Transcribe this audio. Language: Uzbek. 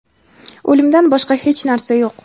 o‘limdan boshqa hech narsa yo‘q.